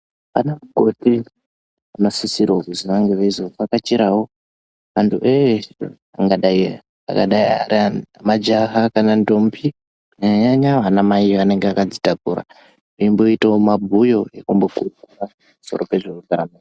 Vana mukoti vanosisirwa kunge veizovakachirwawo vantu veshe vangadai Majaha kana ndombi kunyanya madzimai anenge akazvitakura veimboitawo mabhuyo ekuvhurikira pamusoro pezvehutano.